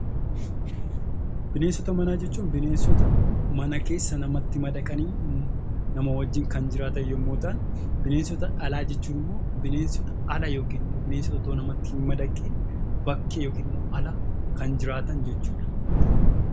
Bineensota manaa jechuun bineensota mana keessa namatti madaqanii nama wajjin kan jiraatan yommuu ta'an; Bineensota alaa jechuun immoo bineensota ala yookiin immoo utuu namatti hin madaqin bakkee yookiin immoo ala kan jiraatan jechuu dha.